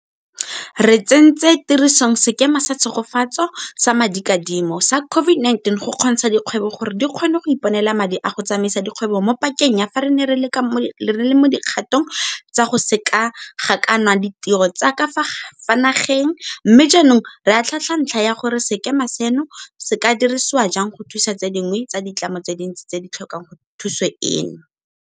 Re tsentse tirisong Sekema sa Tshegetso sa Madikadimo sa COVID-19 go kgontsha dikgwebo gore di kgone go iponela madi a go tsamaisa dikgwebo mo pakeng ya fa re ne re le mo dikgatong tsa go sekeganakwana ditiro tsa ka fa nageng, mme jaanong re atlhaatlhaa ntlha ya gore sekema seno se ka dirisiwa jang go thusa tse dingwe tsa ditlamo tse dintsi tse di tlhokang thuso eno.